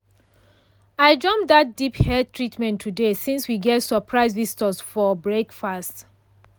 i jump that deep hair treatment today since we get surprise visitors for breakfast.